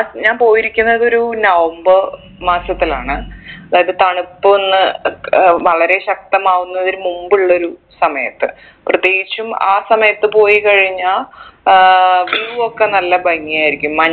ഞാൻ പോയിരിക്കുന്നത് ഒരു നവംബർ മാസത്തിലാണ് അതായത് തണുപ്പൊന്ന് ഏർ വളരെ ശക്തമാവുന്നതിന് മുമ്പുള്ളൊരു സമയത്ത് പ്രത്യേകിച്ചും ആ സമയത്ത് പോയി കഴിഞ്ഞാ ആഹ് view ഒക്കെ നല്ല ഭംഗി ആയിരിക്കും